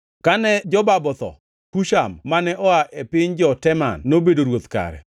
Kane Jobab otho, Husham mane oa e piny jo-Teman nobedo ruoth kare.